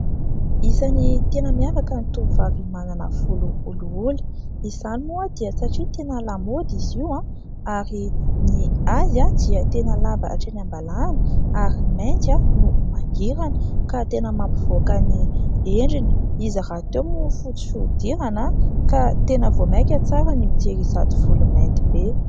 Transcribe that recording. Isan'ny tena miavaka ny tovovavy manana volo olioly. Izany moa dia satria tena lamaody izy io ary ny azy dia tena lava hatreny am-balahana ary mainty no mangirana ka tena mampivoaka ny endriny. Izy rahateo moa fotsy fihodirana ka tena vao maika tsara ny mijery izato volo mainty be.